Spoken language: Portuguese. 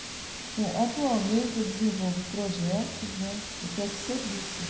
Bom, atualmente eu desenvolvo projetos né, eu presto serviços.